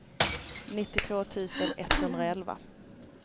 nittiotvå tusen etthundraelva